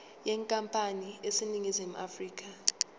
yenkampani eseningizimu afrika